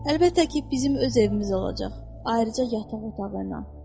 Əlbəttə ki, bizim öz evimiz olacaq, ayrıca yataq otağı ilə.